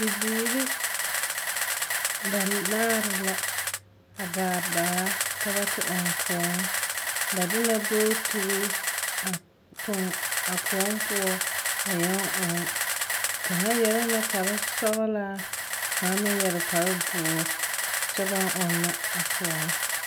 Bibiiri banaare la a gaa baa ka ba te ɔŋ koɔŋ. Ba de la bootiri a toŋ a koɔŋ poɔ a yɛŋ ɔɔŋ. Kaŋa yɛrɛ la kparsɔɔlaa, ka kaŋa meŋ yɛre kpardoɔr, kyɛ baŋ ɔnna a koɔ.